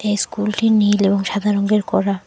ইস্কুলটি -টি নীল এবং সাদা রঙ্গের করা।